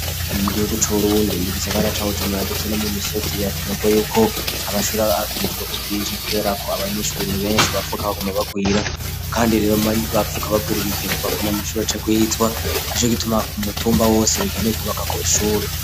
Mugihugu c'uburundi mu gisagara cacu ca bujumbura ndetse no mu misozi birakenerwa yuko amashure akwitwe ko bwinshi kubera ko abanyeshuri nti benshi bapfuga bagoma bagwira kandi rero bapfuga bakwiri bikenegwa ko ntiamashuri acekuyitwa nico gituma ku mutumba wose bikenewe kubaka ko ishuri